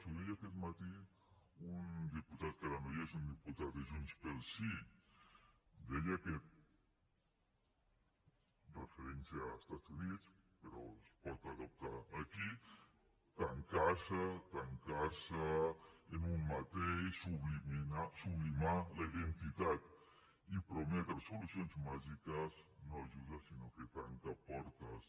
ho deia aquest matí un diputat que ara no hi és un diputat de junts pel sí deia que referint se als estats units però es pot adaptar a aquí tancar se tancar se en un mateix sublimar la identitat i prometre solucions màgiques no ajuda sinó que tanca portes